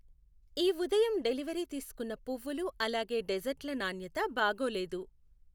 ఈ ఉదయం డెలివరీ తీసుకున్న పువ్వులు అలాగే డెజర్ట్ల నాణ్యత బాగోలేదు.